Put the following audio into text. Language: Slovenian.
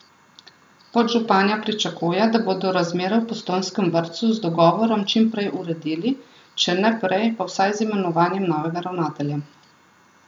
Podžupanja pričakuje, da bodo razmere v postojnskem vrtcu z dogovorom čim prej uredili, če ne prej, pa vsaj z imenovanjem novega ravnatelja.